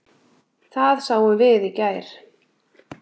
Það sáum við í gær.